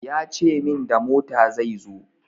Ya ce min da mota zai zo.